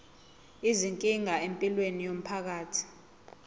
izinkinga empilweni yomphakathi